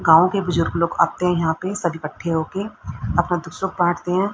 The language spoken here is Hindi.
गांव के बुजुर्ग लोग आते हैं यहां पे सब इकठ्ठे होके अपना दुख सुख बांटते हैं।